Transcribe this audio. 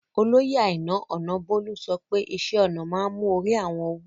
Oloyè Àìnà Ònàbólú sọ̀pẹ̀ ìṣẹ̀-ọnà maa n mú orí àwọn wú